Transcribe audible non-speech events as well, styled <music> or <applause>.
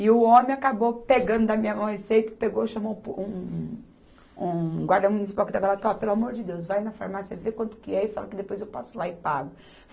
E o homem acabou pegando da minha mão a receita, pegou e chamou um po, um, um guarda municipal que estava lá, <unintelligible> pelo amor de Deus, vai na farmácia, vê quanto que é e fala que depois eu passo lá e pago.